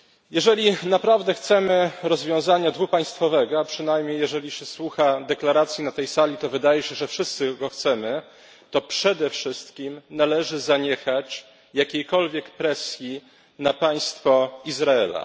Jeżeli naprawdę chcemy rozwiązania dwupaństwowego a przynajmniej, gdy słucha się deklaracji na tej sali, wydaje się, że wszyscy go chcemy to przede wszystkim należy zaniechać jakiejkolwiek presji na państwo Izrael.